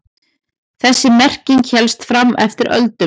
Þessi merking hélst fram eftir öldum.